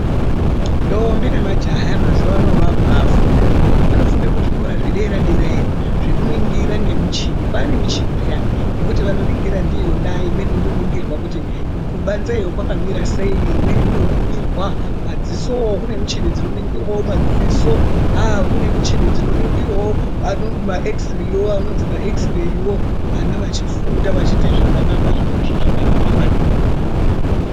Ndombi nemajaha emazuva ano vaakubafunda. Vanofunda kuzvikora zvederadera iyo zvekuningira ngemichini, kwaanemichini pheyani yekuti vanoningira ndiyona imweni inoningira kuti kubanze iyo kwakamirasei imweni inoningirwa madzisowo kune michini dzino ningirawo madziso, haa kune michini dzino ningirawo maekisireyi anozwi ma ekisireyiwo vana vachifunda vachiita zvakanaka, zvirozvo zvakanaka maningi.